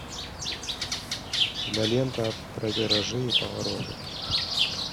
кинолента про виражи и повороты